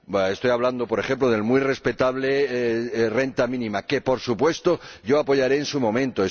Estoy hablando, por ejemplo, de la muy respetable renta mínima, que, por supuesto, yo apoyaré en su momento.